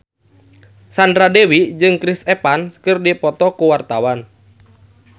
Sandra Dewi jeung Chris Evans keur dipoto ku wartawan